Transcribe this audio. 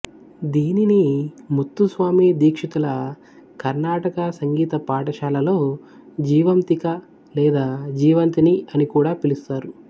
దీనిని ముత్తుస్వామి దీక్షితుల కర్ణాటక సంగీత పాఠశాలలో జీవంతిక లేదా జీవంతిని అని కూడా పిలుస్తారు